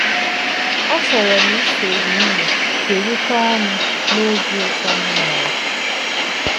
“ Àchọ́rò m ísòrò ùnù kèrítà ọ̀ṅụ̀ nà òbí ùtọ́ m nwèrè.